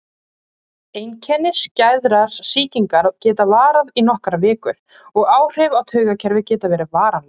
Einkenni skæðrar sýkingar geta varað í nokkrar vikur og áhrif á taugakerfið geta verið varanleg.